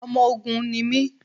Ọmọ Ògun ni mí.